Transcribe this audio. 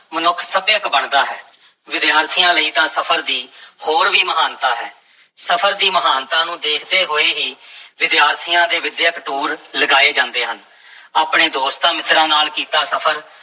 ਮਨੁੱਖ ਸੱਭਿਅਕ ਬਣਦਾ ਹੈ, ਵਿਦਿਆਰਥੀਆਂ ਲਈ ਤਾਂ ਸਫ਼ਰ ਦੀ ਹੋਰ ਵੀ ਮਹਾਨਤਾ ਹੈ, ਸਫਰ ਦੀ ਮਹਾਨਤਾ ਨੂੰ ਦੇਖਦੇ ਹੋਏ ਹੀ ਵਿਦਿਆਰਥੀਆਂ ਦੇ ਵਿੱਦਿਅਕ ਟੂਰ ਲਗਾਏ ਜਾਂਦੇ ਹਨ ਆਪਣੇ ਦੋਸਤਾਂ-ਮਿੱਤਰਾਂ ਨਾਲ ਕੀਤਾ ਸਫ਼ਰ